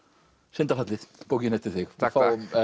syndafallið bókin eftir þig takk